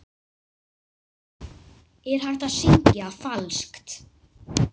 Er hægt að syngja falskt?